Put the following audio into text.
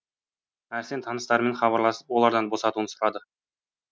әрсен таныстарымен хабарласып олардан босатуын сұрады